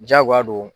Diyagoya don